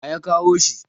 waye ya kawo shi!